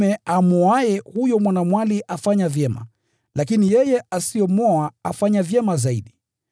Hivyo basi, mwanaume amwoaye mwanamwali afanya vyema, lakini yeye asiyemwoa afanya vyema zaidi.